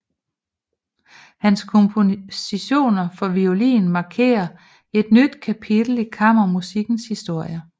Hans kompositioner for violin markerer et nyt kapitel i kammermusikkens historie